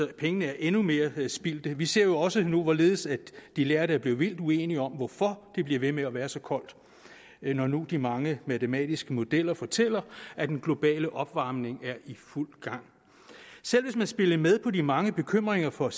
pengene er endnu mere spildt vi ser jo også nu hvorledes de lærde er blevet vildt uenige om hvorfor det bliver ved med at være så koldt når nu de mange matematiske modeller fortæller at den globale opvarmning er i fuld gang selv hvis man spillede med på de mange bekymringer for